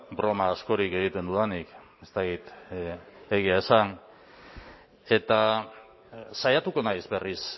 broma askorik egiten dudanik ez dakit egia esan eta saiatuko naiz berriz